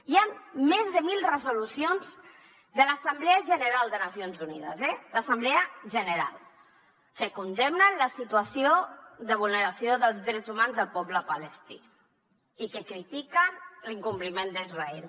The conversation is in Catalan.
hi han més de mil resolucions de l’assemblea general de les nacions unides eh l’assemblea general que condemnen la situació de vulneració dels drets humans del poble palestí i que critiquen l’incompliment d’israel